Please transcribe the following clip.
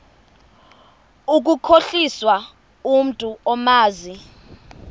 ukukhohlisa umntu omazi